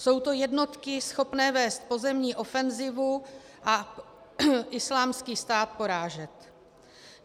Jsou to jednotky schopné vést pozemní ofenzivu a Islámský stát porážet.